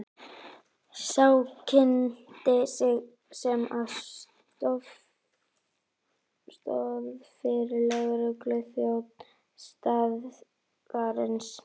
Sá kynnti sig sem aðstoðaryfirlögregluþjón staðarins.